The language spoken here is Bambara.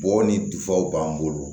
Bɔ ni b'an bolo